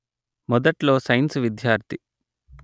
మొదట్లో సైన్సు విద్యార్థి